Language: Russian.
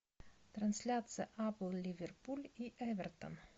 трансляция апл ливерпуль и эвертон